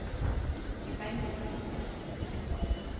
Bendik Helle